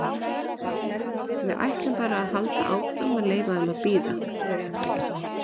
Við ætlum bara að halda áfram að leyfa þeim að bíða.